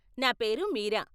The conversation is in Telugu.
నా పేరు మీరా.